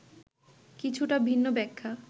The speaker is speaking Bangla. কিছুটা ভিন্ন ব্যাখ্যা